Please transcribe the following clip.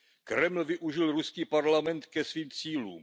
Kreml využil ruský parlament ke svým cílům.